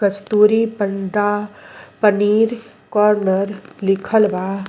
कस्तूरी paneer corner लिखल बा।